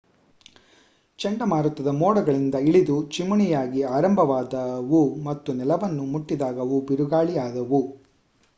ಚಂಡಮಾರುತದ ಮೋಡಗಳಿಂದ ಇಳಿದು ಚಿಮಣಿಯಾಗಿ ಆರಂಭವಾದವು ಮತ್ತು ನೆಲವನ್ನು ಮುಟ್ಟಿದಾಗ ಅವು ಬಿರುಗಾಳಿ ಆದವು